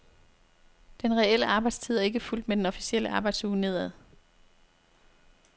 Den reelle arbejdstid er ikke fulgt med den officielle arbejdsuge nedad.